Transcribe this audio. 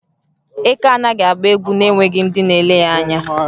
Eké anaghị agba egwu na-enweghị ndị na-ele ya anya.